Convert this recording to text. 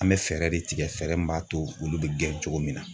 An bɛ fɛɛrɛ de tigɛ fɛɛrɛ min b'a to olu be gɛn cogo min na